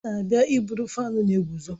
Ọ na-abịa iburu fáan na-eguzo